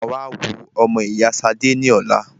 Mà á wá wo ọmọ ìyá Ṣadé ní ọ̀la.